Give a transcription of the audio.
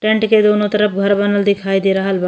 Tent के दुनों तरफ घर बनल दिखाई दे रहल बा।